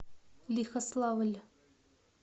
лихославль